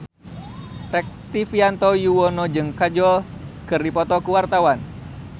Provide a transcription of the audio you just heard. Rektivianto Yoewono jeung Kajol keur dipoto ku wartawan